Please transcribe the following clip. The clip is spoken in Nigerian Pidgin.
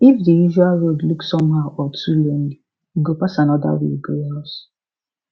if the usual road look somehow or too lonely e go pass another way go house